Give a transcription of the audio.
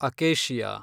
acacia